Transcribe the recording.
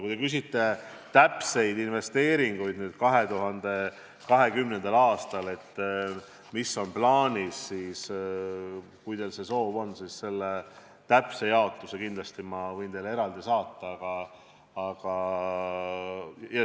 Kui te küsite 2020. aasta täpsete investeeringute kohta, mis on plaanis, siis kui te soovite, võin täpse jaotuse teile eraldi saata.